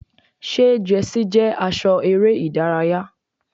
Ṣé jẹ́sí jẹ́ aṣọ eré ìdárayá?